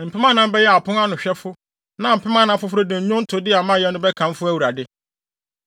Mpem anan bɛyɛ apon ano hwɛfo na mpem anan foforo de nnwontode a mayɛ no bɛkamfo Awurade.”